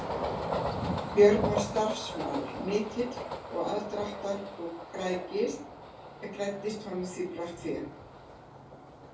Björn var starfsmaður mikill og aðdrátta og græddist honum brátt fé.